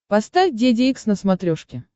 поставь деде икс на смотрешке